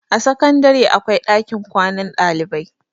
a sakandare akwai ɗakin kwanan ɗalibai